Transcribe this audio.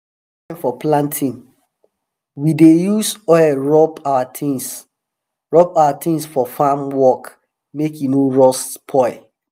for planting we dey use oil rub our tins rub our tins for farm work make e no rust spoil